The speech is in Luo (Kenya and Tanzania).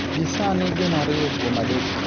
Gi sani gin ariyo kuom adek.